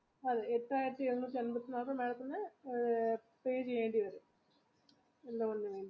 അതെ എട്ടായിരത്തി madam ത്തിന് pay ചെയ്യേണ്ടി വരും